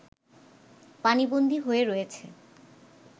পানিবন্দী হয়ে রয়েছে